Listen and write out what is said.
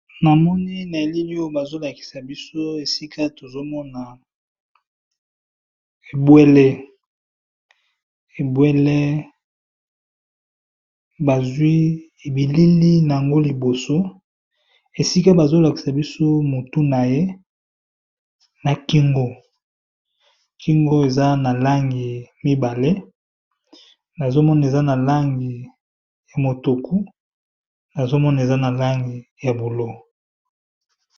Namoni na elili oyo bazolakisa biso esikaebwele bazwi elili naye liboso esika tozomona balakisi biso mutu na kingo namoni eza na langi ya mutuku na langi ya bulo.